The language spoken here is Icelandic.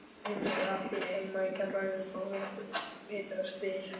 Einu sinni átti ég heima í kjallaraíbúð við Vitastíg.